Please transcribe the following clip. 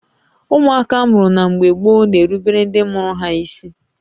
Ụmụaka amụrụ na mgbé gboo na-erubere ndị mụrụ ha ísí